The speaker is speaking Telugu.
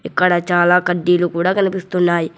ఇక్కడ చాలా కడ్డీలు కూడా కనిపిస్తున్నాయి.